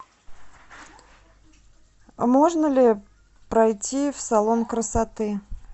можно ли пройти в салон красоты